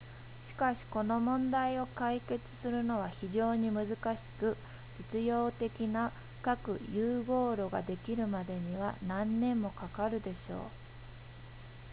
しかしこの問題を解決するのは非常に難しく実用的な核融合炉ができるまでには何年もかかるでしょう